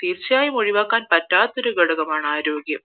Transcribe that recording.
തീർച്ചയായും ഒഴിവാക്കാന് പറ്റാത്ത ഒരു ഘടകമാണ് ആരോഗ്യം